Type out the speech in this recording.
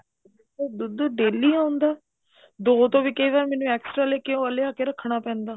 ਉਹ ਦੁੱਧ daily ਆਉਂਦਾ ਦੋ ਤੋਂ ਵੀ ਕਈ ਵਾਰ ਮੈਨੂੰ extra ਲਿਆ ਕੇ ਰੱਖਣਾ ਪੈਂਦਾ